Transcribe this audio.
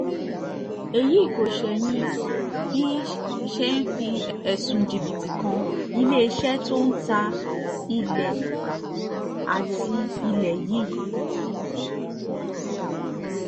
èyí kò ṣẹ̀yìn bí ṣe fi ẹ̀sùn jìbìtì kan iléeṣẹ́ tó ń ta ilé àti ilé yìí